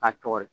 K'a cɔgɔri